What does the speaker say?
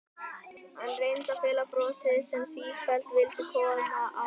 Hann reyndi að fela brosið sem sífellt vildi koma á hann.